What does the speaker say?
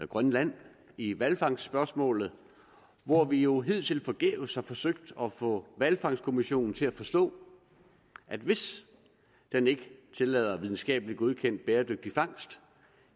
grønland i hvalfangstsspørgsmålet hvor vi jo hidtil forgæves har forsøgt at få hvalfangstkommissionen til at forstå at hvis den ikke tillader videnskabeligt godkendt bæredygtig fangst